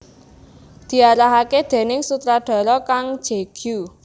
Diarahaké déning sutradhara Kang Je Gyu